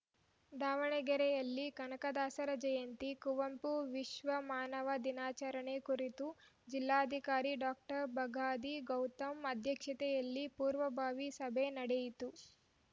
ದಾವಣಗೆರೆಯಲ್ಲಿ ಕನಕದಾಸರ ಜಯಂತಿ ಕುವಂಪು ವಿಶ್ವಮಾನವ ದಿನಾಚರಣೆ ಕುರಿತು ಜಿಲ್ಲಾಧಿಕಾರಿ ಡಾಬಗಾದಿ ಗೌತಮ್‌ ಅಧ್ಯಕ್ಷತೆಯಲ್ಲಿ ಪೂರ್ವಭಾವಿ ಸಭೆ ನಡೆಯಿತು